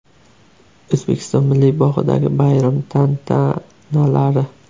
O‘zbekiston Milliy bog‘idagi bayram tantanalari.